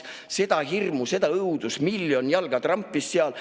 Seda hirmu, seda õudust, miljon jalga trampis seal.